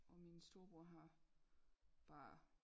Og mine storebror har bare